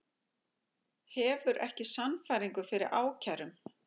Hefur ekki sannfæringu fyrir ákærum